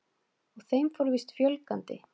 Og þeim fór víst fjölgandi.